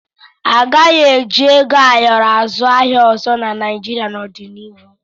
A gaghị eji ego ayọrọ azụ ahịa ọzọ na Naịjịrịa n'ọdịnihu.